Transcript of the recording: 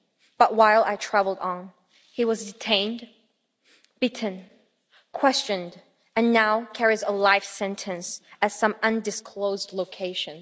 But while I travelled on, he was detained, beaten, questioned, and now carries a life sentence at some undisclosed location.